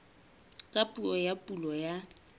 ka puo ya pulo ya